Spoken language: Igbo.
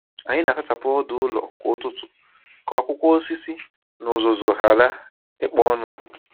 Ànyị na-azachapụ ọdụ ụlọ kwa ụtụtụ ka akwụkwọ osisi na uzuzu ghara ịkpo ọnụ.